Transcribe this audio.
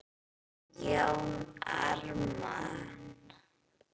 Jón Ármann